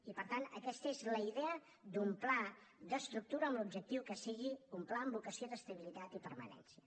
i per tant aquesta és la idea d’un pla d’estructura amb l’objectiu que sigui un pla amb vocació d’estabilitat i permanència